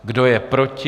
Kdo je proti?